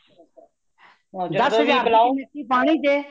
ਪਾਣੀ ਜੇ